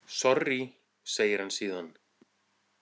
Sorrí, segir hann síðan.